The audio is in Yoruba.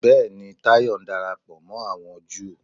Bẹ́ẹ̀ni, Táyọ̀ ń darapọ̀ mọ́ àwọn Júù